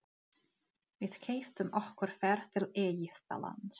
Við keyptum okkur ferð til Egyptalands.